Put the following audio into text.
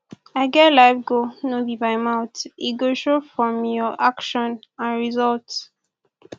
i get life goal no be by mouth e go show from your action and result